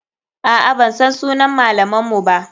Aa, bansan sunan malaman mu ba.